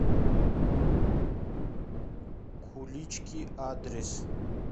кулички адрес